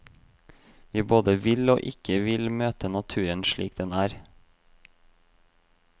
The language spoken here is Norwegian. Vi både vil og ikke vil møte naturen slik den er.